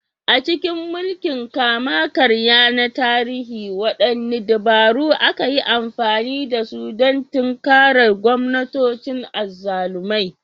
A cikin mulkin kama-karya na tarihi, waɗanne dabaru aka yi amfani da su don tinkarar gwamnatocin azzalumai?